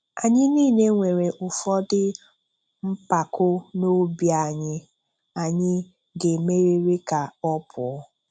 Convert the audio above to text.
Anyị niile nwere ụfọdụ mpako n'obi anyị anyị ga-emeriri ka ọ pụọ.